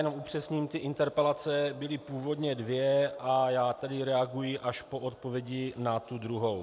Jenom upřesním - ty interpelace byly původně dvě a já tedy reaguji až po odpovědi na tu druhou.